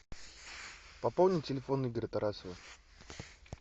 пополнить телефон игоря тарасова